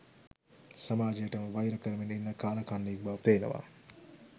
සමාජයටම වයිර කරමින් ඉන්න කාලකන්නියෙක් බව පේනවා